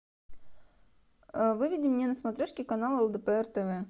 выведи мне на смотрешке канал лдпр тв